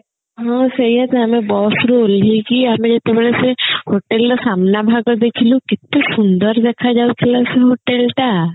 ହଁ ସେଇଆ ତ ଆମେ bus ରୁ ଓହ୍ଲେଇକି ଆମେ ଯେତେବେଳେ ସେ hotel ରେ ସାମ୍ନା ଭାଗ ଦେଖିଲୁ କେତେ ସୁନ୍ଦର ଦେଖା ଯାଉଥିଲା ସେ hotel ଟା